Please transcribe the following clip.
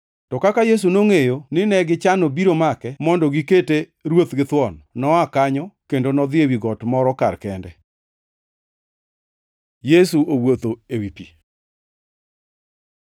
To kaka Yesu nongʼeyo ni negichano biro make mondo gikete ruoth githuon, noa kanyo kendo nodhi ewi got moro kar kende. Yesu owuotho ewi pi